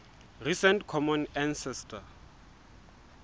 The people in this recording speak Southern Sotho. recent common ancestor